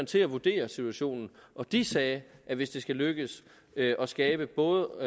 til at vurdere situationen og de sagde at hvis det skal lykkes at skabe både